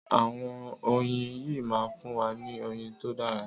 Àwọn oyin yìí máa fún wa ní oyin tó dára.